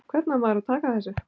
Hvernig á maður að taka þessu?